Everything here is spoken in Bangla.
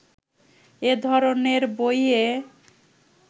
এ ধরনের বইয়ে